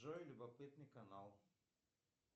джой любопытный канал